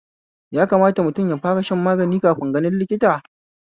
Yakamata mutum yafara shan magani kafin ganin likita?